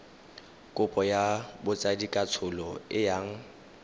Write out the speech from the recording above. kopo ya botsadikatsholo e yang